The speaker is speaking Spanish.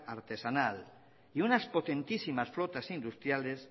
artesanal y unas potentísimas flotas industriales